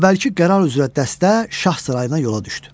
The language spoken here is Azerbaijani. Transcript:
Əvvəlki qərar üzrə dəstə şah sarayına yola düşdü.